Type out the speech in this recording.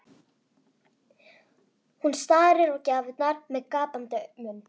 Hún starir á gjafirnar með gapandi munn.